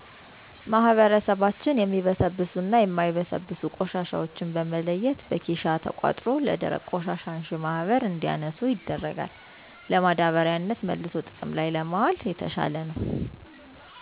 ማህበረሰባችን የሚበሰብሱና የማይበሰብሱ ቆሻሻዎችን በመለየት በኬሻ ተቆጥሮ ለደረቅ ቆሻሻ አንሺ ማህበር እንዲያነሱ ይደረጋል። ለማዳበሪያነት መልሶ ጥቅም ላይ ለማዋል የተሻለ ነው።